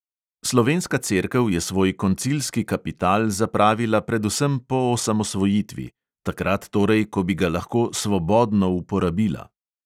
Slovenska cerkev je svoj koncilski kapital zapravila predvsem po osamosvojitvi – takrat torej, ko bi ga lahko svobodno uporabila.